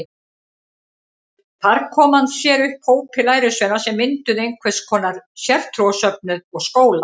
Þar kom hann sér upp hópi lærisveina sem mynduðu einhvers konar sértrúarsöfnuð og skóla.